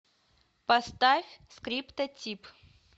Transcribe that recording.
поставь скриптотип